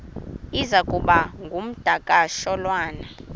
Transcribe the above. iza kuba ngumdakasholwana